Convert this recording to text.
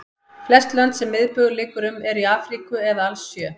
Flest lönd sem miðbaugur liggur um eru í Afríku eða alls sjö.